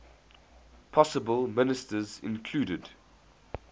possible ministers included